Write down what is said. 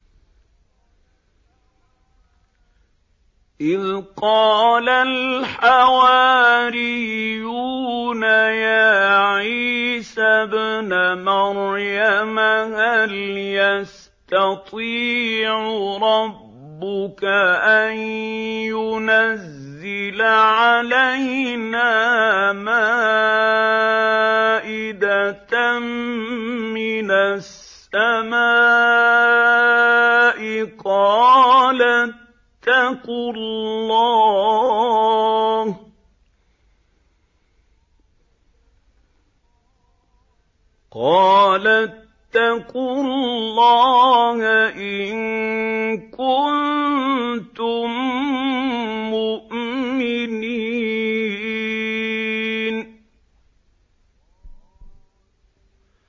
إِذْ قَالَ الْحَوَارِيُّونَ يَا عِيسَى ابْنَ مَرْيَمَ هَلْ يَسْتَطِيعُ رَبُّكَ أَن يُنَزِّلَ عَلَيْنَا مَائِدَةً مِّنَ السَّمَاءِ ۖ قَالَ اتَّقُوا اللَّهَ إِن كُنتُم مُّؤْمِنِينَ